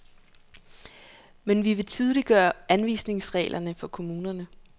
Men vi vil tydeliggøre anvisningsreglerne for kommunerne.